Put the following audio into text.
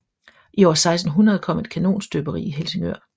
I år 1600 kom et kanonstøberi i Helsingør